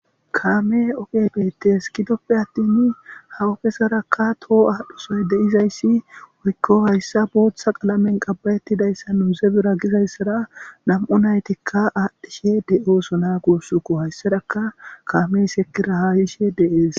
Kaame oge beetes kidoppe attin hawukesarakka toho aadhusoy deizayssi woykko hayssa booththa qalamen qabbayettidayssa nuuze bira gizayssara nam'u naytikka aadhdhishe de'ooso na guussuko hayssaraka kaamey sekira haayishe deees.